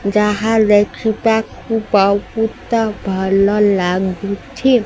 ଯାହା ଦେଖିବାକୁ ବହୁତ ଭଲ ଲାଗୁଛି।